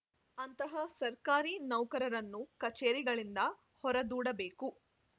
ಅಂತಹ ಸರ್ಕಾರಿ ನೌಕರರನ್ನು ಕಚೇರಿಗಳಿಂದ ಹೊರದೂಡಬೇಕು